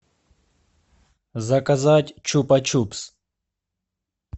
заказать чупа чупс